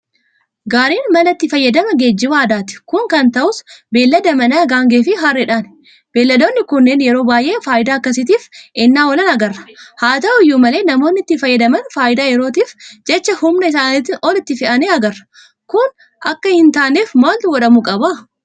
Gaariin mala itti fayyadama geejiba aadaati. Kun kan ta'us beellada manaa gaangeefi harreedhani. Baalladoonni kunneen yeroo baay'ee faayidaa akkasiitiif ennaa oolan agarra. Haata'u iyyuu malee namoonni itti fayyadaman faayidaa yerootiif jecha humna isaaniitiin ol itti fe'anii agarra. Kun akka hintaaneef maaltu godhamuu qaba?